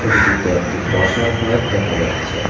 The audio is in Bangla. ছবিটিতে একটি বসার ঘর দেখা যাচ্ছে।